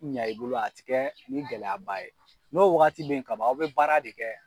ɲa i bolo a tɛ kɛ ni gɛlɛya ba ye n'o wagati bɛ ye ka ban aw bɛ baara de kɛ.